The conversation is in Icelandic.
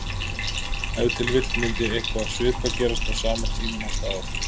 Ef til vill myndi eitthvað svipað gerast á sama tíma næsta ár.